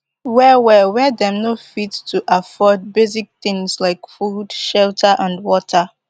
well well wia dem no fit to afford basic tins like food shelter and water